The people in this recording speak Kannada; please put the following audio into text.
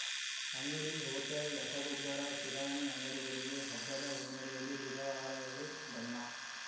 ಅಂಗಡಿ ಹೋಟೆಲ್‌ ರಸಗೊಬ್ಬರ ಕಿರಾಣಿ ಅಂಗಡಿಗಳಿಗೆ ಹಬ್ಬದ ಹಿನ್ನೆಲೆಯಲ್ಲಿ ಬುಧವಾರವೇ ಬಣ್ಣ